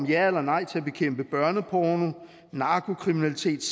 ja eller nej til at bekæmpe børneporno narkokriminalitet